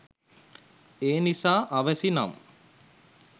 එනිසා අවැසි නම්